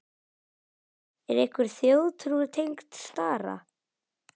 Er einhver þjóðtrú tengd stara?